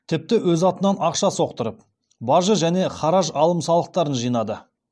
тіпті өз атынан ақша соқтырып бажы және хараж алым салықтарын жинады